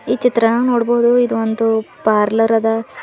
ಈ ಚಿತ್ರಾನಾಗ್ ನೋಡ್ಬೊದು ಇದು ಒಂದು ಪಾರ್ಲರ್ ಅದ.